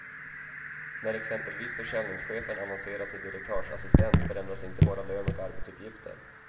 När exempelvis försäljningschefen avancerar till direktörsassistent förändras inte bara lön och arbetsupgifter.